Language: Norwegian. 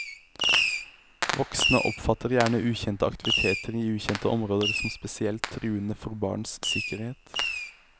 Voksne oppfatter gjerne ukjente aktiviteter i ukjente områder som spesielt truende for barns sikkerhet.